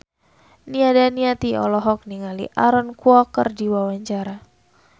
Nia Daniati olohok ningali Aaron Kwok keur diwawancara